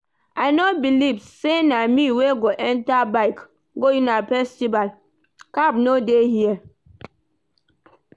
I no believe say na me wey go enter bike go una festival. Cab no dey here?